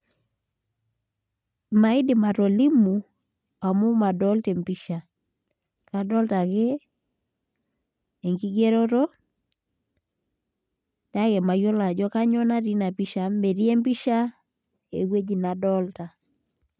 Maidim atolimu amu madolta empisha kadolita ake enkigeroto kake mayiolo ajo ewueji nadolta.